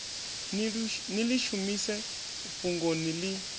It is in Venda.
ni ḽi shumise fhungoni ḽi